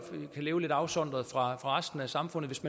som kan leve lidt afsondret fra resten af samfundet hvis